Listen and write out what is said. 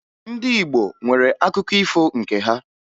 Ndị Igbo nwere akụkọ ifo nke ha